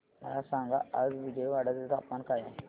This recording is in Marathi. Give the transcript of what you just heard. मला सांगा आज विजयवाडा चे तापमान काय आहे